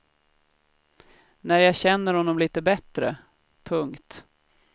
När jag känner honom litet bättre. punkt